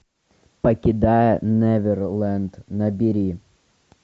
покидая неверленд набери